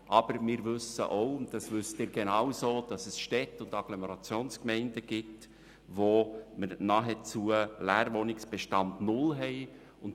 Aber wir wissen auch – und Sie genauso –, dass es Städte und Agglomerationsgemeinden gibt, wo der Leerwohnungsbestand nahezu null ist.